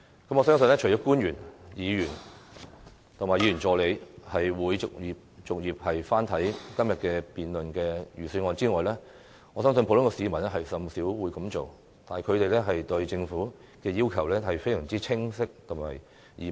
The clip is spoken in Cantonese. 我相信除了官員、議員和議員助理會逐頁翻看今天所辯論的預算案外，普通市民甚少會這樣做，但他們對政府的要求相當清晰易明。